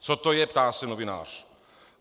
"Co to je?" ptá se novinář.